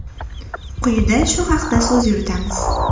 Quyida shu haqda so‘z yuritamiz.